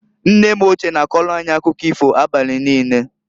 Nne m ochie na-akọlụ anyị akụkọ ifo abali niine.